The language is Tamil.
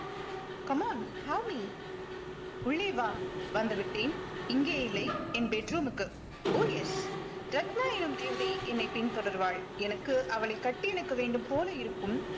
come on show me உள்ளே வா வந்துவிட்டேன் இங்கே இல்லை என் bedroom க்கு oh yes ரத்னா எனும் தேவதை என்னை பின்தொடர்வாள் எனக்கு அவளை கட்டியணைக்க வேண்டும் போல இருக்கும்